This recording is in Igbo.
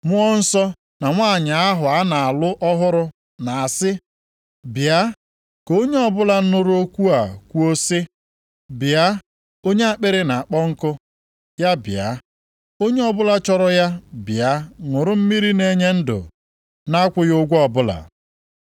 Mmụọ Nsọ na nwanyị ahụ a na-alụ ọhụrụ na-asị, “Bịa!” Ka onye ọbụla nụrụ okwu a kwuo sị, “Bịa!” Onye akpịrị na-akpọ nkụ ya bịa, onye ọbụla chọrọ ya bịa ṅụrụ mmiri na-enye ndụ na-akwụghị ụgwọ ọbụla.